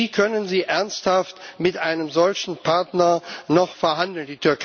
Wie können Sie ernsthaft mit einem solchen Partner noch verhandeln?